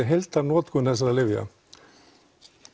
heildarnotkun þessara lyfja